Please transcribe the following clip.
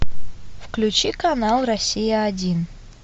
включи канал россия один